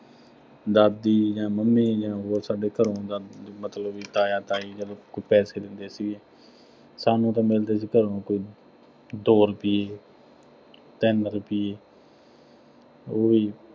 ਦਾਦੀ ਜਾਂ ਮੰਮੀ ਜਾਂ ਹੋਰ ਸਾਡੇ ਘਰੋਂ ਦਾ ਮਤਲਬ ਬਈ ਤਾਇਆ- ਤਾਈ, ਜਦੋਂ ਕੋਈ ਪੈਸੇ ਦਿੰਦੇ ਸੀ, ਸਾਨੂੰ ਤਾਂ ਮਿਲਦੇ ਸੀ ਘਰੋਂ ਕੋਈ ਦੋ ਰੁਪਈਏ ਤਿੰਨ ਰੁਪਈਏ ਉਹ ਵੀ